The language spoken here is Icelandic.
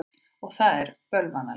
Og það er bölvanlegt.